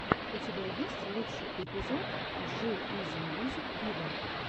у тебя есть лучший эпизод джи изи мьюзик виво